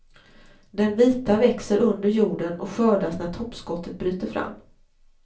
Den vita växer under jorden och skördas när toppskottet bryter fram.